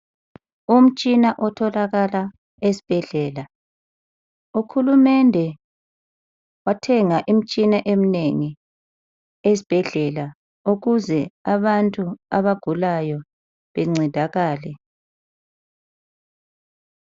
Umtshina otholakala esibhedlela, ukhulumende wathenga imtshina eminengi esibhedlela ukuze abantu abagulayo bencedakale.